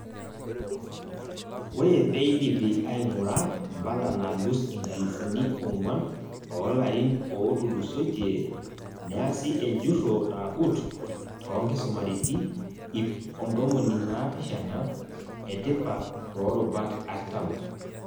Ore peidipi aing'ura mpala naalus inkalifuni ong'uan oolarin ootulusoitie, neasi ejurro nagut too nkisumariti ip ontomoni naapishana etipatoorubat artam.